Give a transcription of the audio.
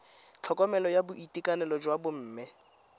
tlhokomelo ya boitekanelo jwa bomme